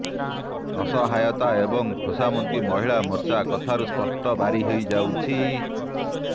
ଅସହାୟତା ଏବଂ ଖୋସାମତି ମହିଳା ମୋର୍ଚ୍ଚା କଥାରୁ ସ୍ପଷ୍ଟ ବାରି ହେଇଯାଉଛି